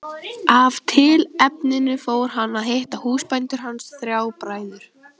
Af tilefninu fór hann að hitta húsbændur hans, þrjá bræður.